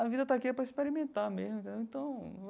A vida está aqui é para experimentar mesmo, entendeu? Então.